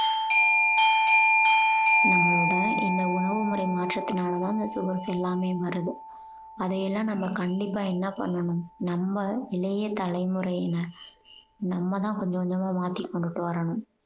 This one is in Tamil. நம்மளோட இந்த உணவு முறை மாற்றத்தினால தான் இந்த sugars எல்லாமே வருது அதை எல்லாம் நம்ம கண்டிப்பா என்ன பண்ணனும் நம்ம இளைய தலைமுறையினர் நம்மதான் கொஞ்சம் கொஞ்சமா மாத்தி கொண்டுட்டு வரணும்